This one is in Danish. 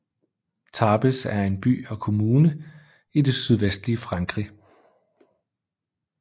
Tarbes er en by og kommune i det sydvestlige Frankrig